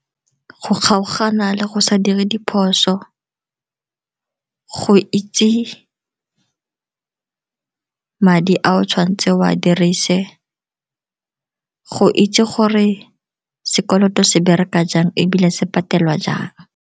Go kgaogana le go sa dire diphoso, go itse madi a o tshwanetseng o a dirise, go itse gore sekoloto se bereka jang ebile se patelwa jang.